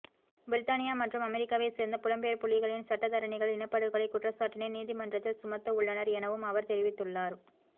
பிரித்தானியா மற்றும் அமெரிக்காவை சேர்ந்த புலம்பெயர் புலிகளின் சட்டத்தரணிகள் இனப்படுகொலை குற்றச்சாட்டினை நீதிமன்றத்தில் சுமத்தவுள்ளனர் எனவும் அவர் தெரிவித்துள்ளார்